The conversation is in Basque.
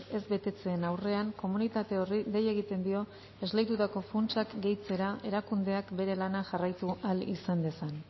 ez betetzeen aurrean komunitate horri dei egiten dio esleitutako funtsak gehitzera erakundeak bere lana jarraitu ahal izan dezan